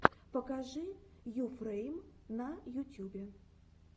покажи йуфрэйм на ютьюбе